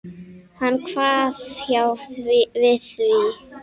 Hann kvað já við því.